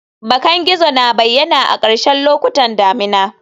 Bakan gizo na bayyana a ƙarshen lokutan damina